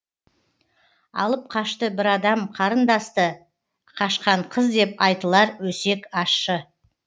алып қашты бір адам қарындасты қашқан қыз деп айтылар өсек ашщы